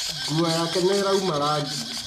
Nguo yake nĩĩrauma rangi